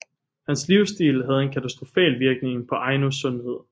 Hans livsstil havde en katastrofal virkning på Ainos sundhed